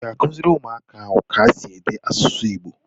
Ị ga-akụziri ụmụaka ahụ ka esi ede asụsụ Igbo?